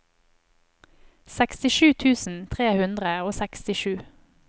sekstisju tusen tre hundre og sekstisju